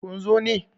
kun zo ne!